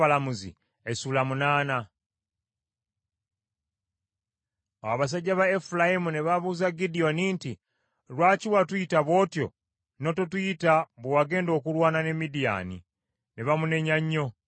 Awo abasajja ba Efulayimu ne babuuza Gidyoni nti, “Lwaki watuyisa bw’otyo, n’ototuyita bwe wagenda okulwana ne Midiyaani?” Ne bamunenya nnyo.